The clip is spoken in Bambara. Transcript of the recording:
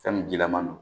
Fɛn min jilaman don